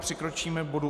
Přikročíme k bodu